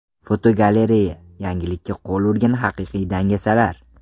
Fotogalereya: Yangilikka qo‘l urgan haqiqiy dangasalar.